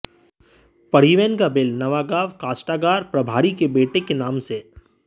परिवहन का बिल नवागांव काष्ठागार प्रभारी के बेटे के नाम से